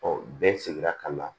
bɛɛ sigira ka na